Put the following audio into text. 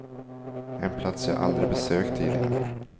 En plats jag aldrig besökt tidigare.